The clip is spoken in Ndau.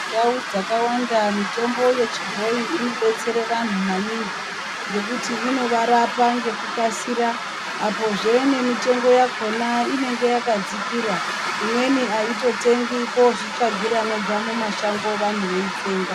Ndau dzakawanda mitombo yechibhoyi inodetsera vantu maningi ngekuti inovarapa ngekukasira apo zvenemitombo imwe inenge yakadzikira imweni aimbotengwiko kuzvitsvagira mumashango vantu veitsenga.